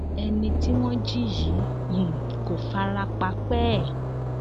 ẹni tí wọn jí yìí um kò fara pa pẹẹ